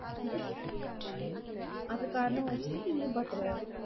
அது காரணமா வச்சுட்டு, நீயும் பாத்திருவ?